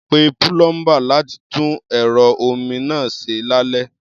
Pe púlọ́ḿbà láti tún ẹ̀rọ omi náà ṣe lálẹ́.